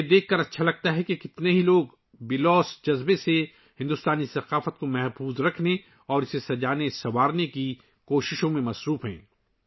مجھے یہ دیکھ کر خوشی ہوتی ہے کہ کتنے لوگ بے لوث طریقے سے بھارتی ثقافت کے تحفظ اور اسے خوبصورت بنانے کی کوششوں میں مصروف ہیں